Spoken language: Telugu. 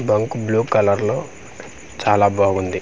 బంకు బ్ల్యూ కలర్ లో చాలా బావుంది.